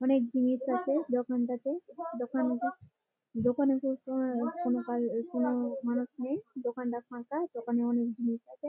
অনেক জিনিস আছে দোকানটাতে। দোকানটা দোকানে সবসময় কোনো কাজ কোন মানুষ নেই। দোকানটা ফাঁকা। দোকানে অনেক জিনিস আছে।